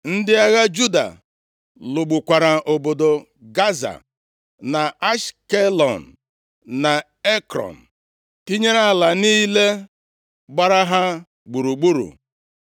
Ndị agha Juda lụgbukwara obodo Gaza, na Ashkelọn, na Ekrọn, tinyere ala niile gbara ha gburugburu.